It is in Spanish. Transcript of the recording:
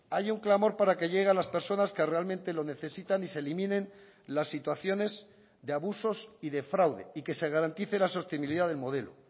hay un clamor para que llegue a las personas que realmente lo necesitan y se eliminen las situaciones de abusos y de fraude y que se garantice la sostenibilidad del modelo